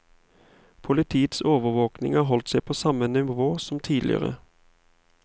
Politiets overvåking har holdt seg på samme nivå som tidligere.